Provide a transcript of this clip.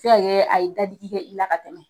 Be se ka kɛ a ye dadigi kɛ i la ka tɛmɛ,